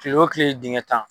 Kile wo kile dingɛ tan.